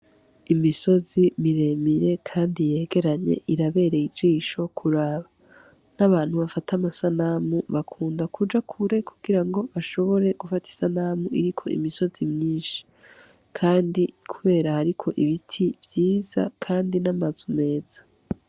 Imisozi miremire kandi yegeranye, irabereye ijisho kuraba. Nk'abantu bafata amasanamu bakunda kuja kure kugirango bashobore gufata isanamu iriko imisozi myinshi. Kandi kubera hariko ibiti vyiza kandi n'amazu meza.